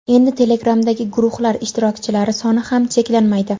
endi Telegram’dagi guruhlar ishtirokchilari soni ham cheklanmaydi.